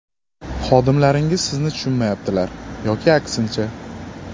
Xodimlaringiz sizni tushunmayaptilar yoki aksincha.